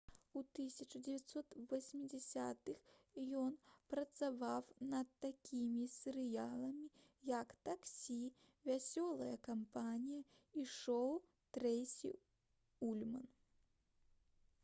у 1980-х ён працаваў над такімі серыяламі як «таксі» «вясёлая кампанія» і «шоу трэйсі ульман»